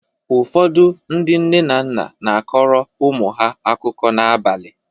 Ụfọdụ ndị nne na nna na-akọrọ ụmụ ha akụkọ n’abalị.